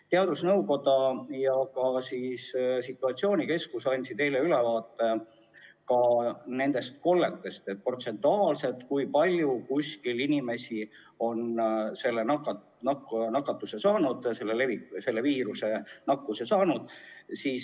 Ka teadusnõukoda ja situatsioonikeskus andsid eile kolletest ülevaate, et kui palju protsentuaalselt kuskil on inimesi selle viiruse saanud.